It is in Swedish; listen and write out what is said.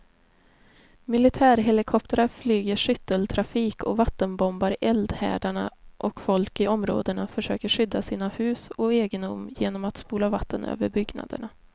Militärhelikoptrar flyger skytteltrafik och vattenbombar eldhärdarna och folk i områdena försöker skydda sina hus och egendom genom att spola vatten över byggnaderna.